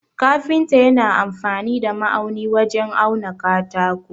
Kafinta yana amfani da ma'auni wajen auna katako.